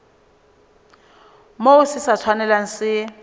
moo se sa tshwanelang se